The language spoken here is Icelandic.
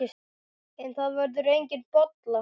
En það verður engin bolla.